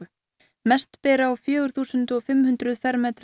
mest ber á fjögur þúsund fimm hundruð fermetra